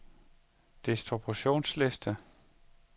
distributionsliste